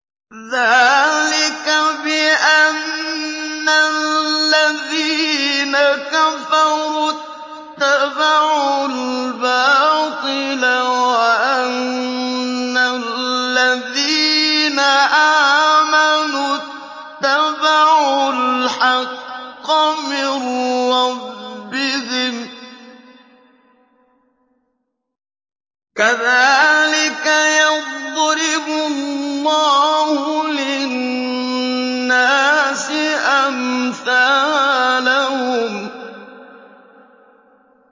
ذَٰلِكَ بِأَنَّ الَّذِينَ كَفَرُوا اتَّبَعُوا الْبَاطِلَ وَأَنَّ الَّذِينَ آمَنُوا اتَّبَعُوا الْحَقَّ مِن رَّبِّهِمْ ۚ كَذَٰلِكَ يَضْرِبُ اللَّهُ لِلنَّاسِ أَمْثَالَهُمْ